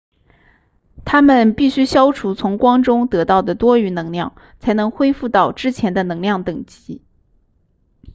它们必须消除从光中得到的多余能量才能恢复到之前的能量等级